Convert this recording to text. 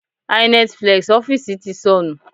Hynetflex ọ́fíìsì ti sọnù.